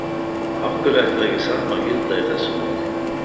Af hverju ætti ekki það sama að gilda í þessu máli?